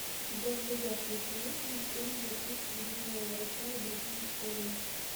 у тебя в загашнике есть мультфильм записки юного врача и другие истории